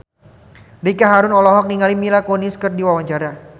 Ricky Harun olohok ningali Mila Kunis keur diwawancara